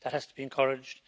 That has to be encouraged.